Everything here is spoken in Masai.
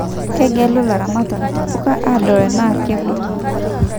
Kegelu ilaramatak intapuka adol enaa kekuto